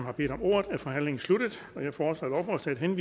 at blive ved bordet og søge den